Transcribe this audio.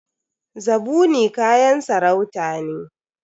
Zabuni kayan sarauta ne.